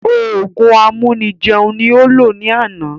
Òògùn amúni jẹun ní ó lò ní àná